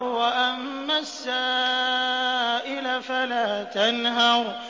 وَأَمَّا السَّائِلَ فَلَا تَنْهَرْ